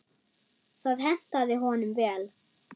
Það hentaði honum vel.